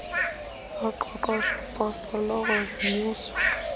zoqeqeshpo soloko zinyusa